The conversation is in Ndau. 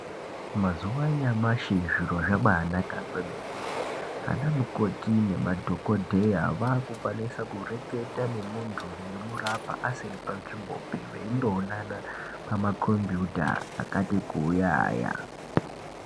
Mazuwa anyamashi zviro zvabaanaka kwemene. Anamukoti nemadhokodheya vaakukwanisa kureketa nemuntu veimurapwa asiri panzvimbopi ,veindoonana pamakhombiyuta akati kuuya aya.